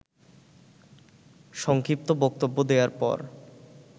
সংক্ষিপ্ত বক্তব্য দেয়ার পর